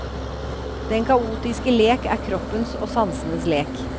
Den kaotiske lek er kroppens og sansenes lek.